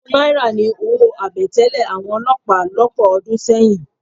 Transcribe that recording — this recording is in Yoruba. Ogún náírà ni owó àbẹ̀tẹ́lẹ̀ àwọn olọ́pàá lọ́pọ̀ ọdún sẹ́yìn.